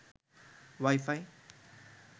wifi